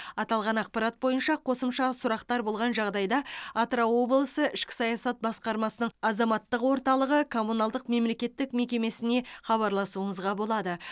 аталған ақпарат бойынша қосымша сұрақтар болған жағдайда атырау облысы ішкі саясат басқармасының азаматтық орталығы коммуналдық мемлекеттік мекемесіне хабарласуыңызға болады